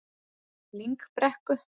Lyngbrekku